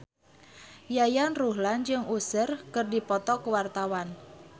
Yayan Ruhlan jeung Usher keur dipoto ku wartawan